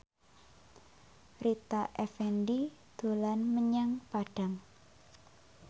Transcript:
Rita Effendy dolan menyang Padang